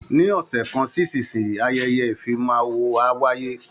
Ní ọ̀sẹ̀ kan sí ìsinsìnyí, ayẹyẹ ìfimawo á wáyé